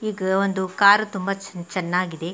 ಈಗ ಒಂದು ಕಾರು ತುಂಬ ಚೆನ್ನಾಗಿದೆ.